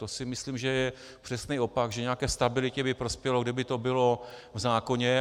To si myslím, že je přesný opak, že nějaké stabilitě by prospělo, kdyby to bylo v zákoně.